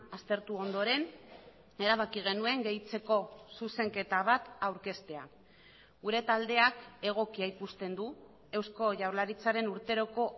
aztertu ondoren erabaki genuen gehitzeko zuzenketa bat aurkeztea gure taldeak egokia ikusten du eusko jaurlaritzaren urteroko